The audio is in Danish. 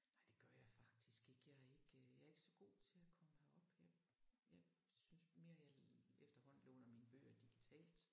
Nej det gør jeg faktisk ikke. Jeg er ikke jeg er ikke så god til at komme herop jeg jeg synes mere jeg efterhånden låner mine bøger digitalt